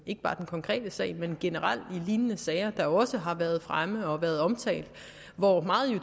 konkrete sag men generelt i lignende sager der også har været fremme og er blevet omtalt meget